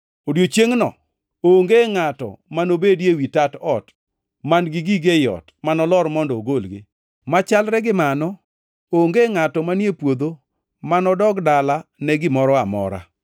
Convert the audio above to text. Odiechiengʼno onge ngʼato manobedie ewi tat ot, man-gi gige ei ot, manolor mondo ogolgi. Machalre gi mano, onge ngʼato manie puodho manodog dala ne gimoro amora.